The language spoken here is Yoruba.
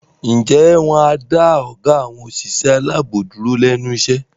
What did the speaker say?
Ǹjẹ́ wọn á dá ọgá àwọn òṣìṣẹ́ aláàbò dúró lẹ́nu iṣẹ́?